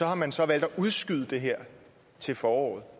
har man så valgt at udskyde det her til foråret og